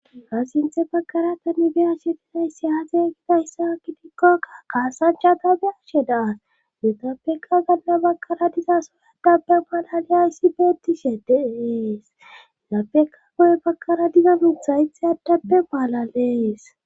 ka sinthe bakara tane be ashe tinayssi aaze kidahyssa akidikkokka qaasacchata be ashe daas nutapeka ganna bakara diza soyadapbe maalaliyayssi beettishe deees lapeka goye bakara diza nuthayte addappe baalalees